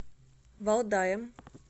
валдаем